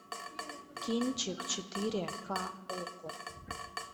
кинчик четыре к окко